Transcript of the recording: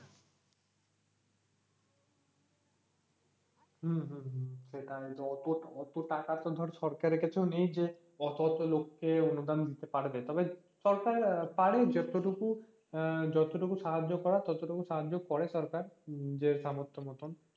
হম হম হম সেটাই অত অত টাকা তো আর সরকারের কাছেও নেই যে অত অত লোকে অনুদান দিতে পারবে তবে সরকার আহ পারে যতটুকু আহ সাহায্য করার ততটুকু সাহায্য করে সরকার নিজের সামর্থ্য মতন